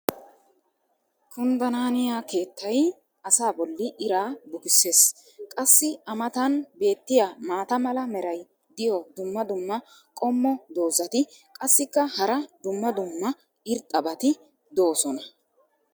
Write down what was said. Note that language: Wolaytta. kunddanaaniya keettay asaa boli iraa bukkisees. qassi a matan beetiya maata mala meray diyo dumma dumma qommo dozzati qassikka hara dumma dumma irxxabati doosona.